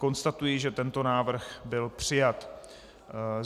Konstatuji, že tento návrh byl přijat.